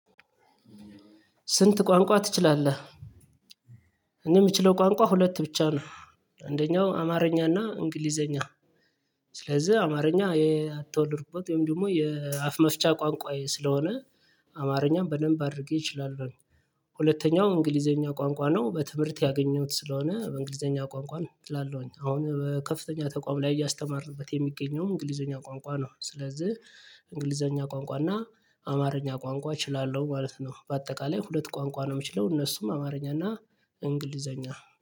ስንት ቋንቋ ትችላለህ? እኔ ምችለው ቋንቋ ሁለት ብቻ ነው አንደኛው አማርኛና እንግሊዘኛ ስለዚህ አማርኛ አትወድርበት ወይም ደግሞ የአፍ መፍቻ ቋንቋዬ ስለሆነ አማርኛም በደንብ አድርጌ እችላለሁ። ሁለተኛው እንግሊዘኛ ቋንቋ ነው በትምህርት ያገኘሁት ስለሆነ እንግሊዘኛ ቋንቋ ነው ችላለሁኝ አሁን በከፍተኛ ተቋም ላይ እያስተማርኩት የሚገኘው እንግሊዘኛ ቋንቋ ነው። ስለዚህ እንግሊዘኛ ቋንቋ እና አማርኛ ቋንቋ እችላለሁ ማለት ነው። በአጠቃላይ ሁለት ቋንቋ ነው የምችለው እነሱም አማርኛ እና እንግሊዘኛ